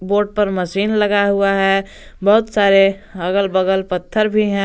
Boat पर machine लगाया हुआ है बहुत सारे अगल बगल पत्थर भी हैं।